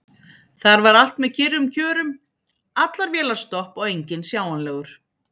Þar var allt með kyrrum kjörum: allar vélar stopp og enginn sjáanlegur.